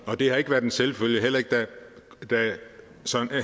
og det har ikke været en selvfølge heller ikke da